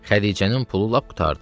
Xədicənin pulu lap qurtardı.